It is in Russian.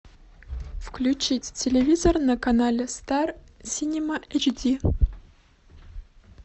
включить телевизор на канале стар синема эйч ди